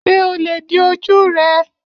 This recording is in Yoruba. Ṣé o lè di ojú rẹ?